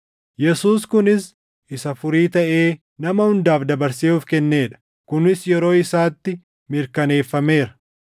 Yesuus kunis isa furii taʼee nama hundaaf dabarsee of kennee dha; kunis yeroo isaatti mirkaneeffameera.